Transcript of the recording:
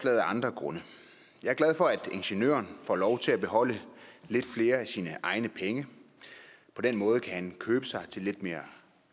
af andre grunde jeg er glad for at ingeniøren får lov til at beholde lidt flere af sine egne penge på den måde kan han købe sig til lidt mere